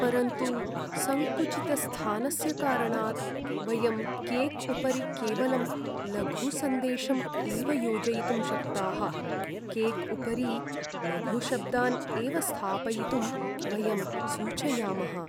परन्तु सङ्कुचितस्थानस्य कारणात्, वयं केक्उपरि केवलं लघुसन्देशम् एव योजयितुं शक्ताः केक्उपरि लघुशब्दान् एव स्थापयितुं वयं सूचयामः।